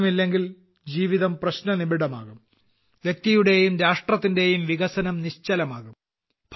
വെള്ളമില്ലെങ്കിൽ ജീവിതം പ്രശ്നനിബിഡമാകും വ്യക്തിയുടെയും രാഷ്ട്രത്തിന്റെയും വികസനം നിശ്ചലമാകും